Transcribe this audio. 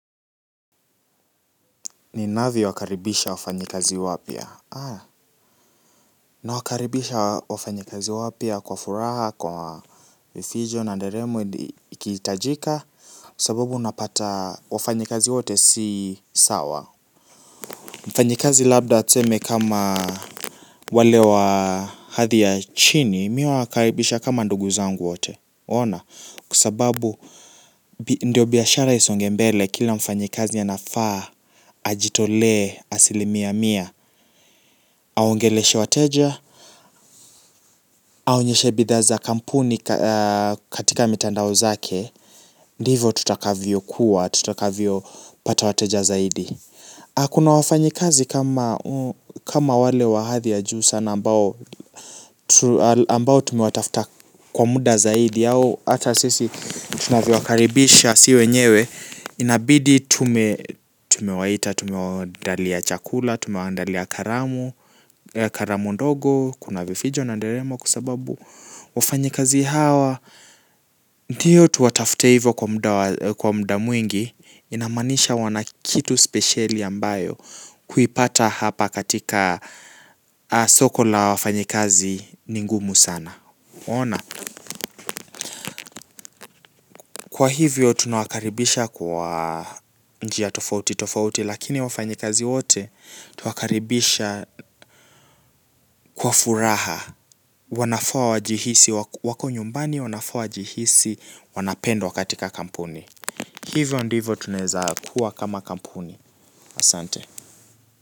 Ninavyowakaribisha wafanyikazi wapya nawakaribisha wafanyikazi wapya kwa furaha kwa vifijo na nderemo ikihitajika. Sababu unapata wafanyikazi wote si sawa. Mfanyikazi labda tuseme kama wale wa hadhi ya chini mi huwakaribisha kama ndugu zangu wote. Ona kwa sababu bi ndio biashara isonge mbele kila mfanyikazi anafaa. Ajitolee, asilimia mia aongeleshe wateja aonyeshe bidhaa za kampuni kaa katika mitandao zake. Ndivo tutakavyo kuwa, tutakavyo pata wateja zaidi. Akuna wafanyikazi kama kama wale wa hadhi ya juu sana ambao tu al ambao tumewatafta kwa muda zaidi ata sisi tunavyo wakaribisha si wenyewe. Inabidi tume tumewaita, tumewaandalia chakula, tumewaandalia karamu karamu ndogo, kuna vifijo na nderemo kwa sababu wafanyakazi hawa ndiyo tuwatafte hivo kwa mda kwa mda mwingi inamaanisha wana kitu spesheli ambayo kuipata hapa katika soko la wafanyikazi ni ngumu sana waona. Kwa hivyo tunawakaribisha kwa njia tofauti tofauti lakini wafanyikazi wote twawakaribisha kwa furaha wanafaa wajihisi wako wako nyumbani wanafaa wajihisi wanapendwa katika kampuni hivo ndivo tunaezakuwa kama kampuni asante.